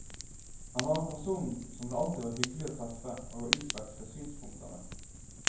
Han var en person som det alltid var hyggelig å treffe og å utveksle synspunkter med.